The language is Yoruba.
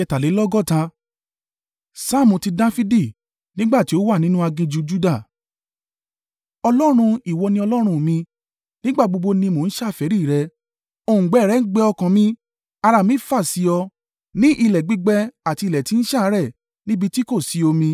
Saamu ti Dafidi. Nígbà tí ó wà nínú aginjù Juda. Ọlọ́run, ìwọ ni Ọlọ́run mi, nígbà gbogbo ni mo ń ṣàfẹ́rí rẹ, òǹgbẹ rẹ ń gbẹ ọkàn mi, ara mi fà sí ọ, ní ilẹ̀ gbígbẹ àti ilẹ̀ tí ń ṣàárẹ̀ níbi tí kò sí omi.